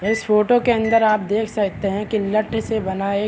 इस फोटो के अन्दर आप देख सकते है कि लठ से बना एक --